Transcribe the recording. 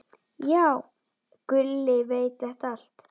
Já, Gulli veit þetta allt.